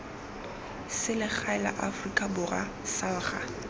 selegae la aforika borwa salga